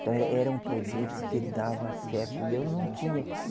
Então eh era um produto que dava certo e eu não tinha.